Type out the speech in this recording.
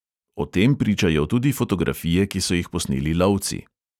O tem pričajo tudi fotografije, ki so jih posneli lovci.